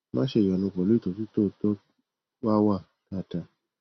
má ṣe ìyọnu pẹlú ìtọjú tó tọ wà á wà dáadáa